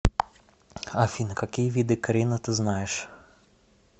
афина какие виды карина ты знаешь